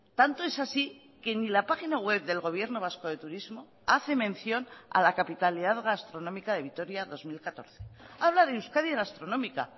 tanto es así que ni la página web del gobierno vasco de turismo hace mención a la capitalidad gastronómica de vitoria dos mil catorce habla de euskadi gastronómica